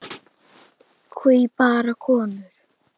Hví bara konur?